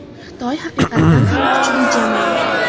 Xitoy haqiqatan ham kuchli jamoa.